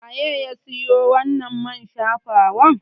Waye ya siyo wannan man shafawar?